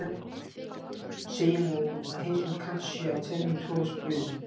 segja má að heimsmynd kants sé af tvennum toga spunnin